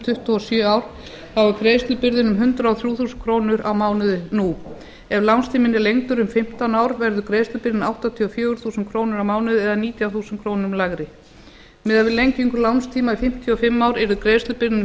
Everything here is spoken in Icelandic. tuttugu og sjö ár er greiðslubyrðin um hundrað og þrjú þúsund krónur á mánuði nú ef lánstíminn er lengdur um fimmtán ár verður greiðslubyrðin áttatíu og fjögur þúsund krónur á mánuði eða nítján þúsund krónum lægri miðað við lengingu lánstíma í fimmtíu og fimm ár yrði greiðslubyrðin um